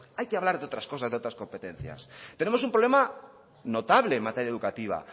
hay que hablar de otras cosas de otras competencias tenemos un problema notable en materia educativa